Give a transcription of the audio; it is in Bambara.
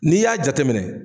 N'i y'a jateminɛ.